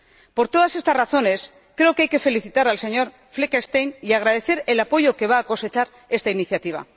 Por todas estas razones, creo que hay que felicitar al señor Fleckenstein y agradecer el apoyo que va a cosechar esta iniciativa.